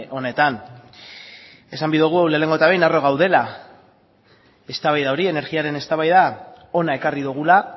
honetan esan nahi dugu lehenengo eta behin harro gaudela eztabaida hori energiaren eztabaida hona ekarri dugula